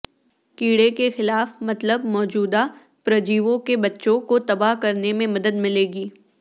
کیڑے کے خلاف مطلب موجودہ پرجیویوں کے بچوں کو تباہ کرنے میں مدد ملے گی